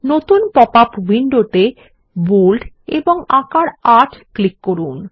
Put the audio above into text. নতুন popup window তে bold এবং আকার ৮ ক্লিক করুন